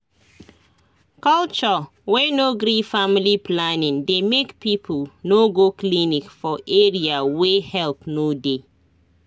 culture wey no gree family planning dey make people no go clinic for area wey help no dey